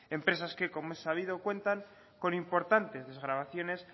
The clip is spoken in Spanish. empresas que como es sabido cuentan con importantes desgravaciones